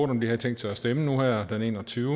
om de havde tænkt sig at stemme nu her den 21